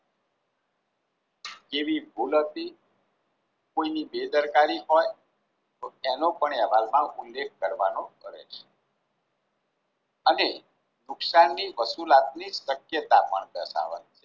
કેવી ભૂલ હતી કોઈની બેદરકારી હોય તો તેનો પણ અહેવાલમાં ઉલ્લેખ કરવાનો રહે છે. અને નુકસાનની વસુલાતને શક્યતા પણ દર્શવવાની છે.